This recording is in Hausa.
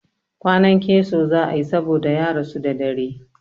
Kwanan keso za a yi saboda ya rasu da dare.